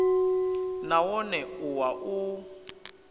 na wone u wa u